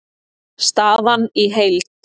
Staðan í heild